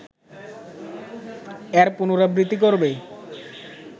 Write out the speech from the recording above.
এর পুনরাবৃত্তি করবে